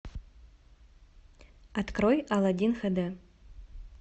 открой алладин хэ дэ